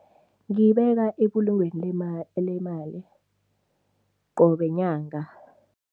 Ngiyibeka ebulungweni qobe nyanga.